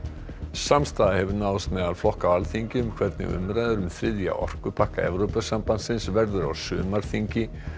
samstaða hefur náðst meðal flokka á Alþingi um hvernig umræður um þriðja orkupakka Evrópusambandsins verði á sumarþingi